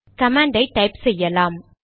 command ஐ type செய்யலாம்